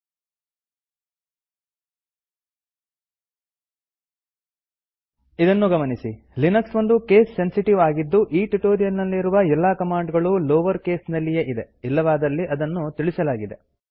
httpspoken tutorialorg ಇದನ್ನು ಗಮನಿಸಿ Linux ಒಂದು ಕೇಸ್ ಸೆನ್ಸಿಟಿವ್ ಆಗಿದ್ದು ಈ ಟ್ಯುಟೋರಿಯಲ್ ನಲ್ಲಿರುವ ಎಲ್ಲಾ ಕಮಾಂಡ್ ಗಳೂ ಲೋವರ್ ಕೇಸ್ ನಲ್ಲಿಯೇ ಇದೆ ಇಲ್ಲವಾದಲ್ಲಿ ಅದನ್ನು ತಿಳಿಸಲಾಗಿದೆ